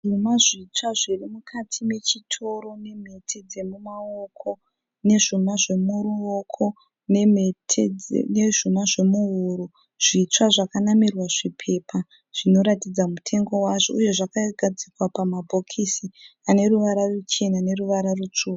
Zvuma zvitsva zviri mukati mechitoro nemhete dzemumaoko nezvuma zvemuruoko nemhete nezvuma zvemuhuro zvitsva zvakanamirwa zvipepa zvinoratidza mutengo wazvo uye zvakagadzikwa pamabhokisi ane ruvara ruchena noruvara rutsvuku.